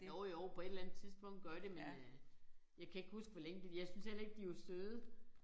Jo jo på et eller andet tidspunkt gør de men øh jeg kan ikke huske hvor længe fordi jeg syntes heller ikke de var søde